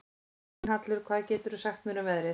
Gunnhallur, hvað geturðu sagt mér um veðrið?